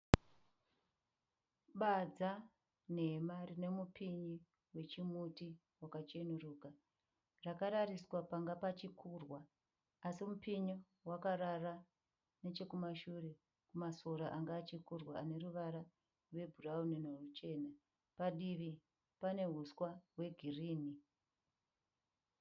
Badza nhema rine mupinyi wechimuti wakacheneruka. Rakarariswa panga pachikurwa. Así mupinyi wakarara neche kumashure kumasora anga achikurwa ane ruvara rwe bhurauni neruchena. Padivi pane huswa hwe girinhi.